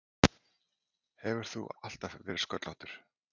Hefur þú alltaf verið sköllóttur?